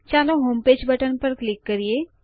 ચાલો homepage button પર click કરીએ